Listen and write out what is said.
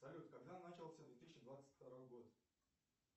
салют когда начался две тысячи двадцать второй год